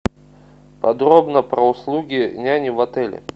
подробно про услуги няни в отеле